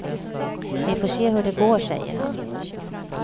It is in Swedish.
Vi får se hur det går, säger han.